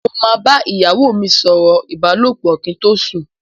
Mo máa bá ìyàwó mi sọ̀rọ̀ ìbálòpọ̀ kí n tó sùn.